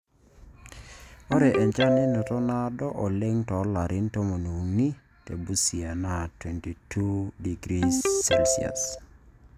Ore enchan nanoto naado oleng too larin tomoniuni te Busia naa 22°C.